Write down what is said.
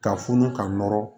Ka funu ka nɔrɔ